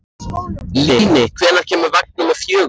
Líni, hvenær kemur vagn númer fjögur?